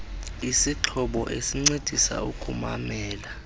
isixhobo esincedisa ukumamela